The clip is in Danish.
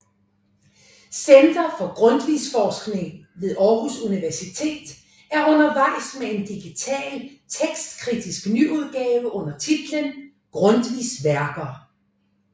Center for Grundtvigforskning ved Aarhus Universitet er undervejs med en digital tekstkritisk nyudgave under titlen Grundtvigs Værker